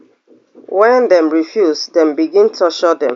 wen dem refuse dem begin torture dem